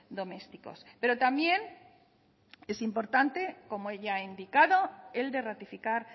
domésticos pero también es importante como ya ha indicado el de ratificar